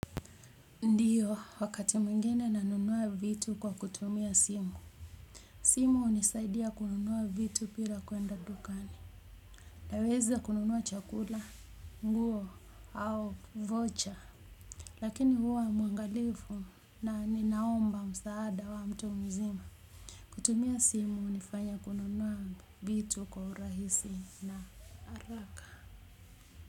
Ndiyo wakati mwingine nanunua vitu kwa kutumia simu. Simu hunisaidia kununua vitu bila kuenda dukani. Naweza kununua chakula, nguo, au vocha. Lakini huwa mwangalifu na ninaomba msaada wa mtu mzima. Kutumia simu hunifanya kununua vitu kwa urahisi na haraka.